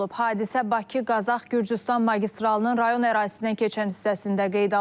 Hadisə Bakı-Qazax-Gürcüstan magistralının rayon ərazisindən keçən hissəsində qeydə alınıb.